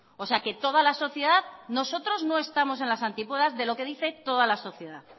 o sea que toda la sociedad nosotros no estamos en las antípodas de lo que dice toda la sociedad